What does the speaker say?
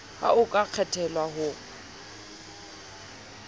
ha o ka kgethelwa ho